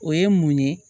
O ye mun ye